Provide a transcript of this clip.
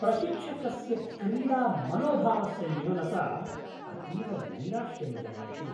प्रशिक्षकस्य क्रीडामनोभावस्य न्यूनता अतीव नैराश्यं जनयति।